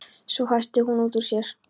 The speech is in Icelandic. Svo hvæsti hann út úr sér